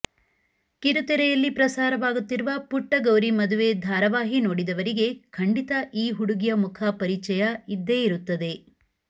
ಕಿರುತೆರೆಯಲ್ಲಿ ಪ್ರಸಾರವಾಗುತ್ತಿರುವ ಪುಟ್ಟ ಗೌರಿ ಮದುವೆ ಧಾರಾವಾಹಿ ನೋಡಿದವರಿಗೆ ಖಂಡಿತ ಈ ಹುಡುಗಿಯ ಮುಖ ಪರಿಚಯ ಇದ್ದೇ ಇರುತ್ತದೆ